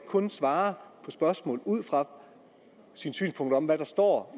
kun svarer på spørgsmålet ud fra sit synspunkt om hvad der står